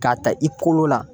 K'a ta i kolo la